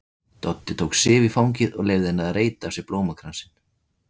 Doddi tók Sif í fangið og leyfði henni að reyta af sér blómakransinn.